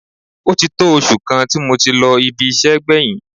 Ó ti tó oṣù kan tí mo ti lọ ibi iṣẹ́ gbẹ̀yìn